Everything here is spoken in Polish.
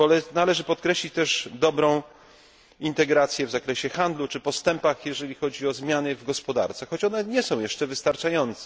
Należy podkreślić też dobrą integrację w zakresie handlu czy postępy, jeżeli chodzi o zmiany w gospodarce, choć one nie są jeszcze wystarczające.